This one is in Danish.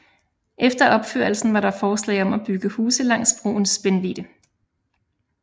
Efter opførelsen var der forslag om at bygge huse langs broens spændvidde